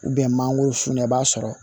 mangoro sun na i b'a sɔrɔ